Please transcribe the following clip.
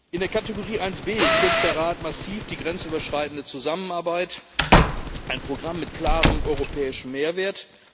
In der Kategorie 1B kürzt der Rat massiv die grenzüberschreitende Zusammenarbeit, ein Programm mit klarem europäischem Mehrwert.